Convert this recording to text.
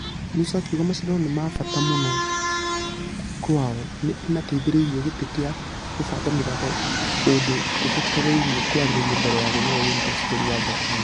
Musa akĩuga mashidano nĩ mabata mũno kwĩao nĩ ĩmateithereirie gitĩ gĩa kũbanga mĩthako kũndũ kũbatairie kwarĩrio mbere ya gũthie olympics bũrũri wa japan.